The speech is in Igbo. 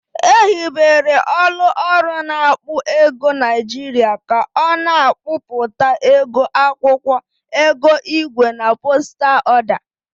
Ehibere ọlụ ọrụ na-akpọ ego Niajịrịa ka ọ na-akpọpụta ego akwọkwọ, ego igwe na postal ọda.